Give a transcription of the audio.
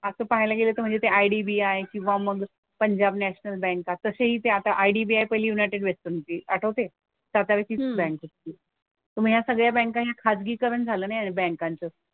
असं पाहायला गेलं तर म्हणजे ते IDBI किंवा मग पंजाब नॅशनल बँका तसंही ते आता IDBI पहिली युनायटेड वेस्टर्न होती. आठवतेय? सरकारचीच बँक होती. मग या सगळ्या बँका या खाजगीकरण झालं ना या बँकांचं.